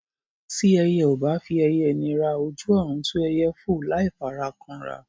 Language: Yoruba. Tí ẹyẹ ò bá fi ẹyẹ nira, ojú ọ̀run tó ẹyẹ fò láì fara kanra.